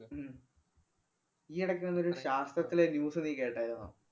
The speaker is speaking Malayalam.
ഉം ഈയെടയ്ക്ക് വന്നൊരു ശാസ്ത്രത്തിലെ news നീ കേട്ടാരുന്നോ?